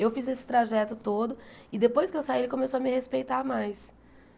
Eu fiz esse trajeto todo e depois que eu saí ele começou a me respeitar mais.